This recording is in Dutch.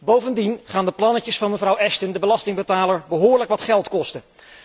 Bovendien gaan de plannetjes van mevrouw Ashton de belastingbetaler behoorlijk wat geld kosten.